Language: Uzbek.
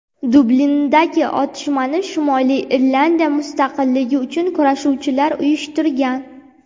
Dublindagi otishmani Shimoliy Irlandiya mustaqilligi uchun kurashuvchilar uyushtirgan.